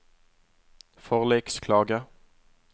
forliksklage